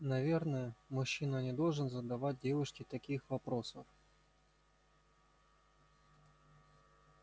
наверное мужчина не должен задавать девушке таких вопросов